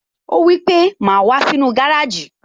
Ó wípé, "Má wàá sínú gárèjì